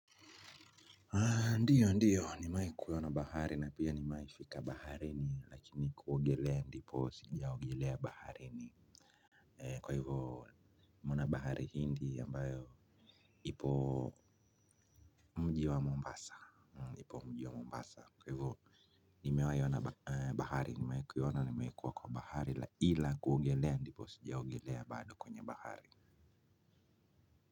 Ndio ndio nimewai kuiona bahari na pia nimewai nimefika baharini lakini kuogelea ndipo sijaogelea baharini. Kwa hivyo nimeona bahari hindi ambayo ipo mji wa mombasa ipo mji kwa mombasa. Kwa hivyo nimewai ona bahari nimewai kuiona nimewai kuwa kwa bahari ila kuogelea ndipo sijaogelea bado kwenye bahari.